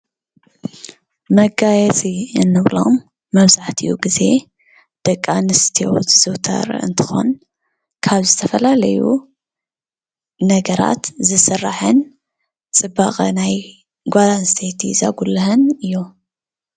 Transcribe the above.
መጋየፂ እንብሎም መብዛሕቲኡ ግዜ ደቂ ኣንስትዮ ዝዝውተር እንትኾን፣ ካብ ዝተፈላለዩ ነገራት ዝስራሕን ፅባቐ ናይ ጓል ኣንስተይቲ ዘጉልህን እዩ::